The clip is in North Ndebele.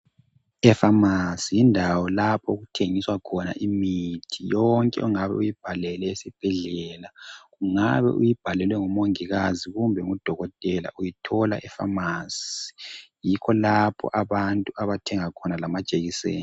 Efamasi yindawo lapho okuthengiswa khona imithi yonke ongabe uyibhalelwe esibhedlela ungabe uyibhalelwe ngumongikazi kumbe ngudokotela uyithola efamasi yikho lapho abantu abathenga khona lamajekiseni